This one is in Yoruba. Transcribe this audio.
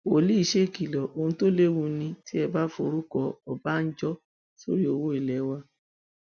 wòlíì ṣèkìlọ ohun tó léwu ni tí ẹ bá forúkọ ọbànjọ sórí owó ilé wa